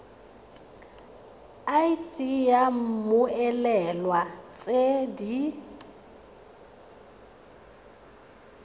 id ya mmoelwa tse di